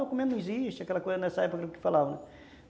Documento não existe, aquela coisa nessa época que falavam, né?